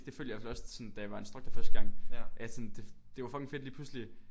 Det følte jeg i hvert fald også sådan da jeg var instructor første gang at sådan det det var fucking fedt lige pludselig